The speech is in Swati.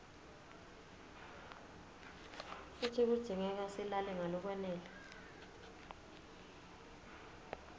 futsi kudzingeka silale ngalokwanele